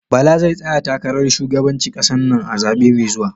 Bala zai tsaya takarar shugabanci ƙasar nan a zabe mai zuwa